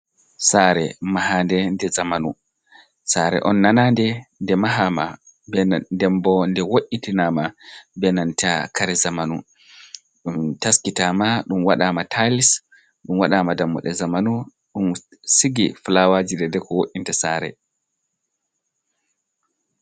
Saare mahaande nde zamanu, saare on nanande nde mahaama ,bena dembo nde wo’itinaama benanta kare zamanu ɗum taskitaama. Ɗum waɗaama tayis, ɗum waɗaama dammoɗe zamanu, ɗum sigi fulawaaji deydey ko wo’inta saare.